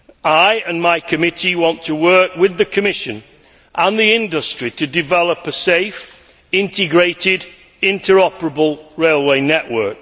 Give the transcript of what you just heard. I and my committee want to work with the Commission and the industry to develop a safe, integrated, interoperable railway network.